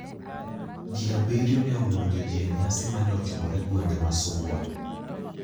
Ji abiriyo ne omonjo ji e nyasi mane otimore gwenge ma Suba.